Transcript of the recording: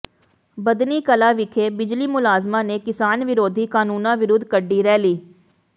ਬੱਧਨੀ ਕਲਾਂ ਵਿਖੇ ਬਿਜਲੀ ਮੁਲਾਜ਼ਮਾਂ ਨੇ ਕਿਸਾਨ ਵਿਰੋਧੀ ਕਾਨੂੰਨਾਂ ਵਿਰੁੱਧ ਕੱਢੀ ਰੈਲੀ